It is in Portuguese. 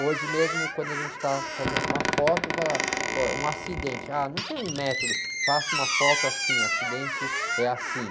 Hoje mesmo, quando a gente está fazendo uma foto, fala, pô, um acidente, não tem um método, faça uma foto assim, acidente é assim.